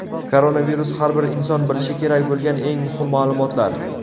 Koronavirus: Har bir inson bilishi kerak bo‘lgan eng muhim ma’lumotlar.